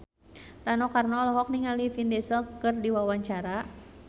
Rano Karno olohok ningali Vin Diesel keur diwawancara